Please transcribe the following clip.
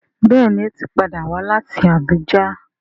Béèni o tí pàdà wá láti Abuja.